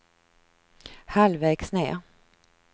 halvvägs ned